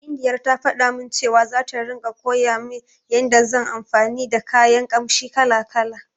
Baindiyar ta faɗa min cewa, zata ringa koya min yanda zan anfani da kayan ƙamshi kala-kala.